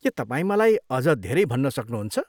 के तपाईँ मलाई अझ धेरै भन्न सक्नुहुन्छ?